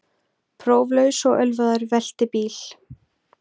Próflaus og ölvaður velti bíl